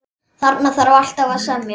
Þarna þarf alltaf að semja.